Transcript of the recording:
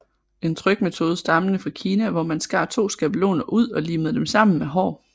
En trykmetode stammende fra Kina hvor man skar to skabeloner ud og limede dem sammen med hår